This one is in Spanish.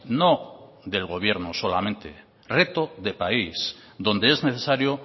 no del gobierno solamente reto de país donde es necesario